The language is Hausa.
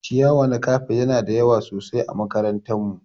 Ciyawa na kafet Yana da yawa sosai ã makarantar mu.